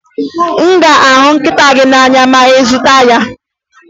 Ị ga-ahụ nkịta gị n'anya ma ị zụta ya?